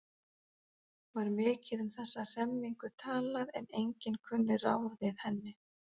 Var mikið um þessa hremmingu talað en enginn kunni ráð við henni.